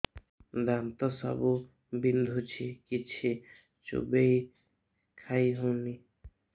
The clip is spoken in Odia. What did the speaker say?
ଦାନ୍ତ ସବୁ ବିନ୍ଧୁଛି କିଛି ଚୋବେଇ ଖାଇ ହଉନି